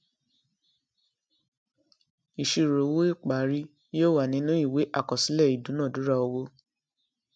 ìṣirò owó ìparí yóò wà nínú ìwé àkọsílẹ ìdúnadúrà owó